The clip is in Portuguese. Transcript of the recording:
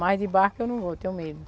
Mas de barco eu não vou, tenho medo.